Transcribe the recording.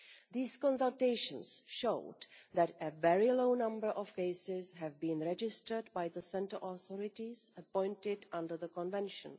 These consultations showed that a very small number of cases have been registered by the centre authorities appointed under the Convention.